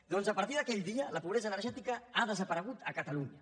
doncs a partir d’aquell dia la pobresa energètica ha desaparegut a catalunya